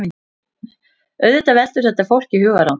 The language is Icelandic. Auðvitað veldur þetta fólki hugarangri